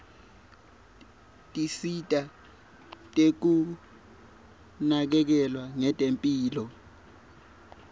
tinsita tekunakekelwa ngetemphilo